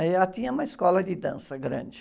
Já tinha uma escola de dança grande.